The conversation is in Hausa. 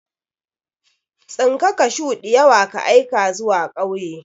Tsinka kashuw diyawa ka aika zuwa kauye.